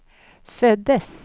föddes